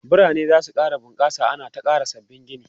biranai zasu ƙara bunƙasa ana ta ƙara sabbabin Gini